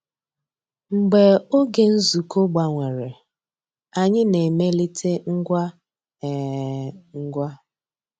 Mgbeé ògé nzukọ́ gbànwèrè, ànyị́ ná-èmélìté ngwá um ngwá.